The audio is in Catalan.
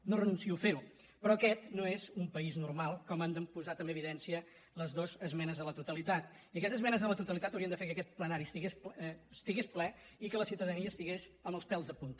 no renuncio a fer ho però aquest no és un país normal com han posat en evidència les dues esmenes a la totalitat i aquestes esmenes a la totalitat haurien de fer que aquest plenari estigués ple i que la ciutadania estigués amb els pèls de punta